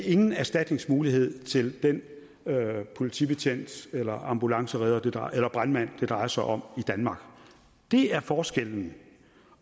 ingen erstatningsmuligheder til den politibetjent eller ambulanceredder eller brandmand det drejer sig om det er forskellen